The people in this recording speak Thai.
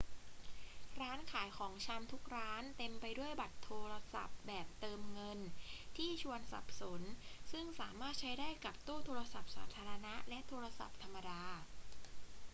ร้านขายของชำทุกร้านเต็มไปด้วยบัตรโทรศัพท์แบบเติมเงินที่ชวนสับสนซึ่งสามารถใช้ได้กับตู้โทรศัพท์สาธารณะและโทรศัพท์ธรรมดา